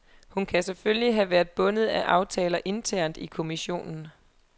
Hun kan selvfølgelig have været bundet af aftaler internt i kommissionen.